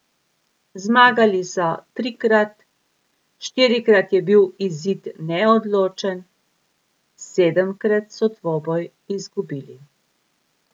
Zmagali so trikrat, štirikrat je bil izid neodločen, sedemkrat so dvoboj izgubili.